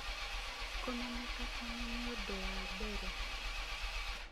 kũmenyeka tene nĩ ũndũ wa mbere